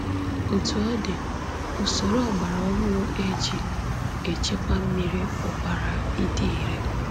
Otú ọ dị, usoro ọgbara ọhụrụ e ji echekwa mmiri pụkwara ịdị ire.